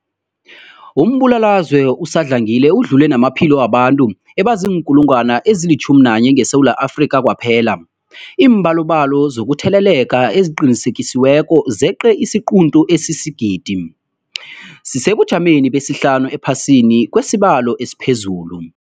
Umbulalazwe usadlangile udlule namaphilo wabantu abaziinkulungwana ezi-11 ngeSewula Afrika kwaphela. Iimbalobalo zokutheleleka eziqinisekisiweko zeqe isiquntu sesigidi, sisesebujameni besihlanu ephasini ngokwesibalo esiphezulu.